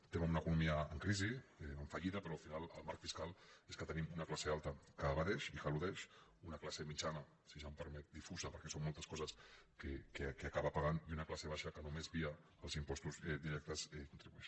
es·tem en una economia en crisi en fallida però al final el marc fiscal és que tenim una classe alta que evadeix i que eludeix una classe mitjana si se’m permet di·fusa perquè són moltes coses que acaba pagant i una classe baixa que només via els impostos directes con·tribueix